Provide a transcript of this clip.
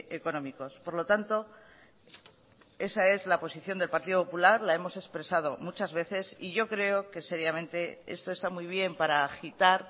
económicos por lo tanto esa es la posición del partido popular la hemos expresado muchas veces y yo creo que seriamente esto está muy bien para agitar